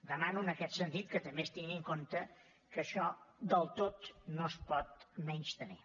demano en aquest sentit que també es tingui en compte que això del tot no es pot menystenir